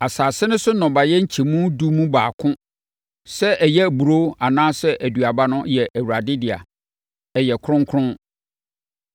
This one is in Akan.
“ ‘Asase no so nnɔbaeɛ nkyɛmu edu mu baako, sɛ ɛyɛ aburoo anaa aduaba no yɛ Awurade dea. Ɛyɛ kronkron.